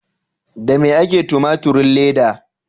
Da me ake yin tumaturin leda?